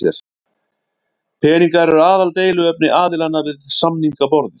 Peningar eru aðaldeiluefni aðilanna við samningaborðið